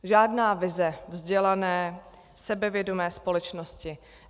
Žádná vize vzdělané, sebevědomé společnosti.